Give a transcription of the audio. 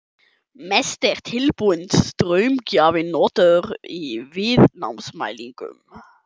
Mest er tilbúinn straumgjafi notaður í viðnámsmælingum.